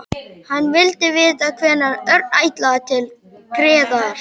Hann vildi vita hvenær Örn ætlaði til Gerðar.